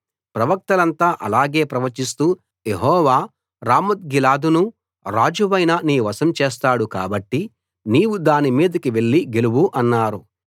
ప్రవక్తలంతా అలాగే ప్రవచిస్తూ యెహోవా రామోత్గిలాదును రాజువైన నీ వశం చేస్తాడు కాబట్టి నీవు దాని మీదికి వెళ్లి గెలువు అన్నారు